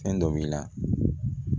Fɛn dɔ b'i la